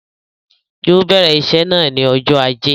Yóò bèrè iṣé náà ni ọjọ́ ajé.